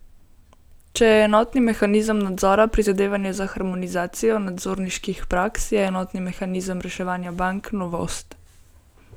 Če je enotni mehanizem nadzora prizadevanje za harmonizacijo nadzorniških praks, je enotni mehanizem reševanja bank novost.